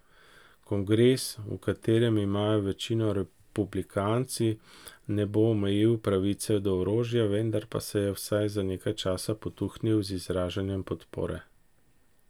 Kongres, v katerem imajo večino republikanci, ne bo omejil pravice do orožja, vendar pa se je vsaj za nekaj časa potuhnil z izražanjem podpore.